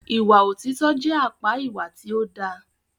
Ìwà òtítọ jẹ àpá ìwà tí o dá.